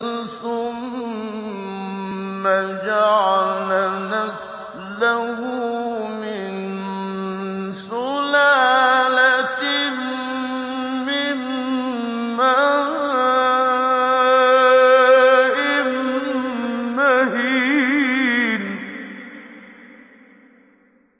ثُمَّ جَعَلَ نَسْلَهُ مِن سُلَالَةٍ مِّن مَّاءٍ مَّهِينٍ